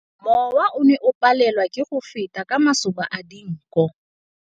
Mowa o ne o palelwa ke go feta ka masoba a dinko.